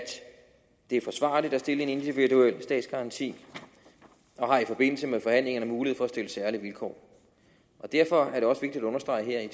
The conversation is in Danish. det er forsvarligt at stille en individuel statsgaranti og har i forbindelse med forhandlingerne mulighed for at stille særlige vilkår og derfor er det også vigtigt at understrege her at